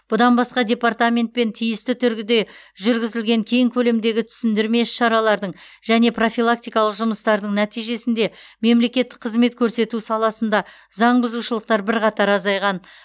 бұдан басқа департаментпен тиісті түргүде жүргізілген кең көлемдегі түсіндірме іс шаралардың және профилактикалық жұмыстардың нәтижесінде мемлекеттік қызмет көрсету саласында заңбұзушылықтар бірқатар азайған